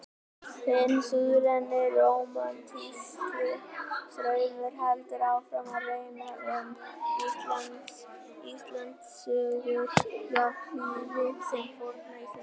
Hinn suðræni rómantíski straumur heldur áfram að renna um Íslendingasögur jafnhliða þeim forna íslenska.